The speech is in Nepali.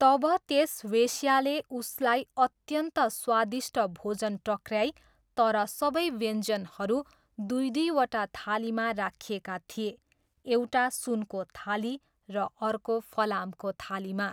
तब त्यस वेश्याले उसलाई अत्यन्त स्वादिष्ट भोजन टक्र्याई तर सबै व्यञ्जनहरू दुई दुईवटा थालीमा राखिएका थिए, एउटा सुनको थाली र अर्को फलामको थालीमा।